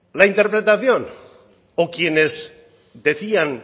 la interpretación o quienes decían